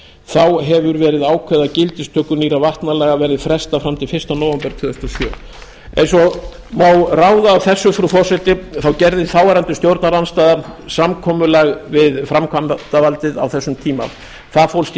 þá hefur verið ákveðið að gildistöku nýrra vatnalaga verði frestað fram til fyrsta nóvember tvö þúsund og sjö eins og má ráða af þessu frú forseti þá gerði þáverandi stjórnarandstaða samkomulag við framkvæmdarvaldið á þessum tíma það fólst í